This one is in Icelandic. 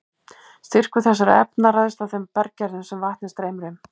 Styrkur þessara efna ræðst af þeim berggerðum sem vatnið streymir um.